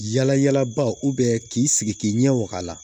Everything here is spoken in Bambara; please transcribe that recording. Yala yalaba k'i sigi k'i ɲɛ waga